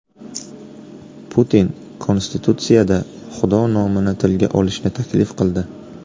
Putin Konstitutsiyada Xudo nomini tilga olishni taklif qildi.